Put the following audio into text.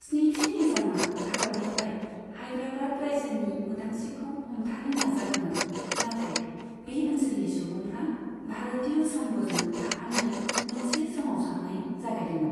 स्निथि निजामआ भारतनिफ्राय हाइद्राबाद रायजोनि उदांस्रिखौ हमथानो नाजादोंमोन, नाथाय बे ओनसोलनि सुबुंफ्रा भारतीय संघजों थाफानो मोनसे सोमावसारनाय जागायदोंमोन।